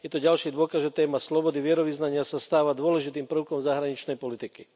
Je to ďalší dôkaz, že téma slobody vierovyznania sa stáva dôležitým prvkom zahraničnej politiky.